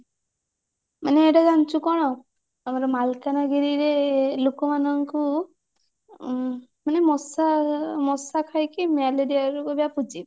ମାନେ ଏଇଟା ଜାଣିଛୁ କଣ ଆମର ମାଲକାନଗିରିରେ ଲୋକମାନଙ୍କୁ ଉଁ ମାନେ ମଶା ଉଁ ମଶା ଖାଇକି ମ୍ୟାଲେରିଆ ରୋଗ ବ୍ୟାପିଛି